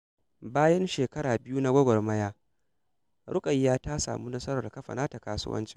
Bayan shekara biyu na gwagwarmaya, Rukayya ta samu nasarar kafa nata kasuwanci.